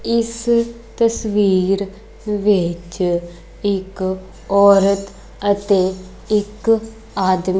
ਇਸ ਤਸਵੀਰ ਵਿੱਚ ਇੱਕ ਔਰਤ ਅਤੇ ਇੱਕ ਆਦਮੀ--